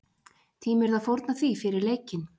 Tímirðu að fórna því fyrir leikinn?